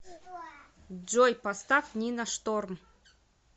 джой поставь нина шторм